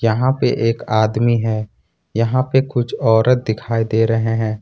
यहां पे एक आदमी है यहां पे कुछ औरत दिखाई दे रहे हैं।